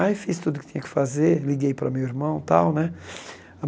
Aí fiz tudo o que tinha que fazer, liguei para o meu irmão tal, né?